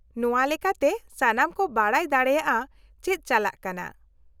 -ᱱᱚᱶᱟ ᱞᱮᱠᱟᱛᱮ ᱥᱟᱱᱟᱢ ᱠᱚ ᱵᱟᱰᱟᱭ ᱫᱟᱲᱮᱭᱟᱜᱼᱟ ᱪᱮᱫ ᱪᱟᱞᱟᱜ ᱠᱟᱱᱟ ᱾